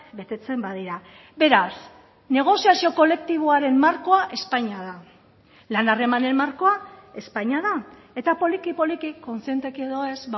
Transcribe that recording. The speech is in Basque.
betetzen badira beraz negoziazio kolektiboaren markoa espainia da lan harremanen markoa espainia da eta poliki poliki kontzienteki edo ez